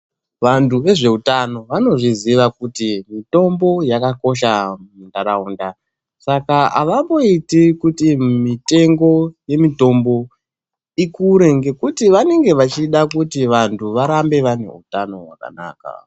Vantu vezveutano vanozviziva kuti mitombo yakakosha mundaraunda, saka avamboiti kuti mitengo yemitombo ikure ngekuti vanenge vachida kuti vantu varambe vane utano hwakanaka .